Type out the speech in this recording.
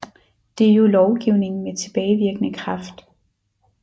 Det er jo lovgivning med tilbagevirkende kraft